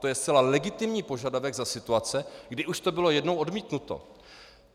To je zcela legitimní požadavek za situace, kdy už to bylo jednou odmítnuto.